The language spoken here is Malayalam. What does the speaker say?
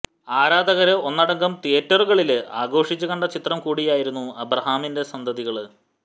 ആരാധകര് ഒന്നടങ്കം തിയ്യേറ്ററുകളില് ആഘോഷിച്ചു കണ്ട ചിത്രം കൂടിയായിരുന്നു അബ്രഹാമിന്റെ സന്തതികള്